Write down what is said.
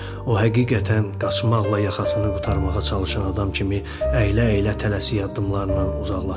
O həqiqətən qaçmaqla yaxasını qurtarmağa çalışan adam kimi əylə-əylə tələsik addımlarla uzaqlaşırdı.